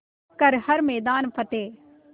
कर हर मैदान फ़तेह